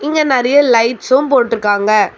இங்க நறைய லைட்ஸும் போட்டு இருக்காங்க.